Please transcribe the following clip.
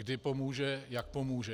Kdy pomůže, jak pomůže.